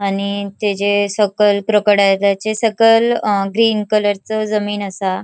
आणि तेजे सकयल क्रोकोडैलेचे सकल अ ग्रीन कलरचो जमीन असा.